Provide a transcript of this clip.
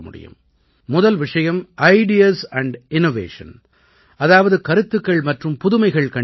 முதல் விஷயம் ideas and innovation அதாவது கருத்துக்கள் மற்றும் புதுமைகள் கண்டுபிடிப்பு